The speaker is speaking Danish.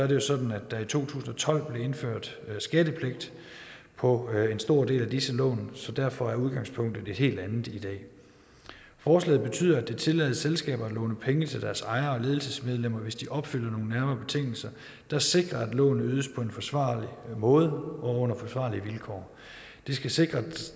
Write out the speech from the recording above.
jo sådan at der i to tusind og tolv blev indført skattepligt på en stor del af disse lån så derfor er udgangspunktet et helt andet i dag forslaget betyder at det tillades selskaber at låne penge til deres ejere og ledelsesmedlemmer hvis de opfylder nogle nærmere betingelser der sikrer at lånet ydes på en forsvarlig måde og under forsvarlige vilkår det skal sikre at